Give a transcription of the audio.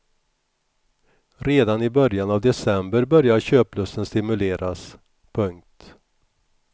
Redan i början av december börjar köplusten stimuleras. punkt